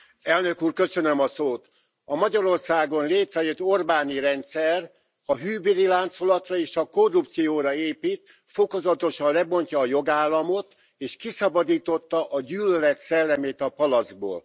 Tisztelt Elnök úr! A Magyarországon létrejött orbáni rendszer a hűbéri láncolatra és a korrupcióra épít. Fokozatosan lebontja a jogállamot és kiszabadította a gyűlölet szellemét a palackból.